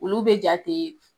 Olu bɛ jate